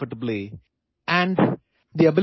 লগতে আৰামত বহিবলৈ নমনীয়তা থাকিব লাগিব